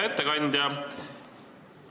Hea ettekandja!